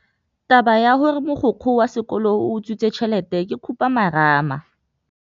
Taba ya gore mogokgo wa sekolo o utswitse tšhelete ke khupamarama.